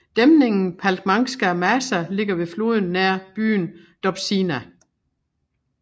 Dæmningen Palcmanská Maša ligger ved floden nær byen Dobšiná